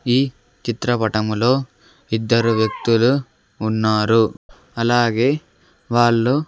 ఈ చిత్రపటంలో ఇద్దరు వ్యక్తులు ఉన్నారు అలాగే వాళ్ళు.